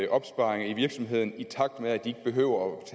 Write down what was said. opsparinger i virksomheden i takt med at de ikke behøver